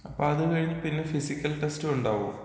അപ്പോ അതും കഴിഞ്ഞു പിന്നെ ഫിസിക്കൽ ടെസ്റ്റുണ്ടാവോ?